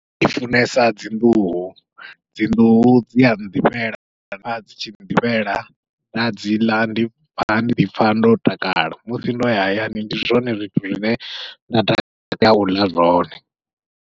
Ndi funesa dzi nḓuhu, dzi nḓuhu dzia nḓifhela kana dzi tshi nḓifhela nda dziḽa ndi pfha ndi ḓipfha ndo takala, musi ndoya hayani ndi zwone zwithu zwine nda takalela uḽa zwone.